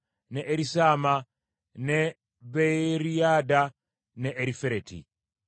ne Erisaama, ne Beeriyadda, ne Erifereti.